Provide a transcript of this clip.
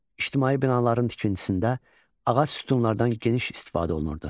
İctimai binaların tikintisində ağac sütunlardan geniş istifadə olunurdu.